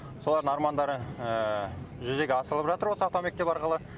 солардың армандары жүзеге асырылып жатыр осы автомектеп арқылы